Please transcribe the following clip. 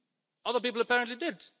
Other people apparently did.